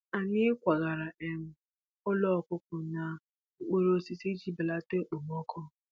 Anyị kwagara um ụlọ ọkụkọ n’okpuru osisi iji belata okpomọkụ